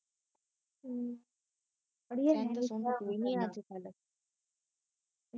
ਅੜੀਏ ਸਹਿੰਦਾ ਸੁਹੰਦਾ ਕੋਈ ਨਹੀਂ ਓ ਅਜਕਲ